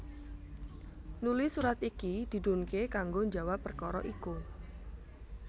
Nuli surat iki didhunké kanggo njawab perkara iku